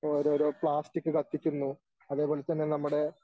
ഓരോരോ പ്ലാസ്റ്റിക് കത്തിക്കുന്നു അതേപോലെ തന്നെ നമ്മുടെ